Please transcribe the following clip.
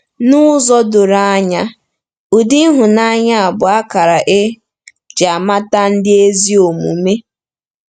N'ụzọ doro anya, ụdị ịhụnanya a bụ akara e ji amata ndị ezi omume.